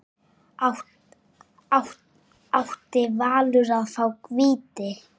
Átti Valur að fá víti?